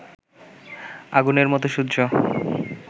আগুনের মতো সূর্য